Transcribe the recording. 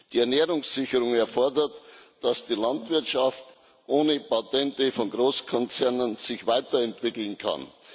Die Ernährungssicherung erfordert, dass sich die Landwirtschaft ohne Patente von Großkonzernen weiterentwickeln kann.